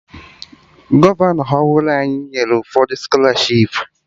Gọvanọ ọhụrụ anyị nyere ụfọdụ skọlarshipu